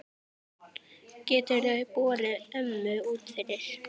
Geturðu borið ömmu út fyrir?